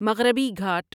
مغربی گھاٹ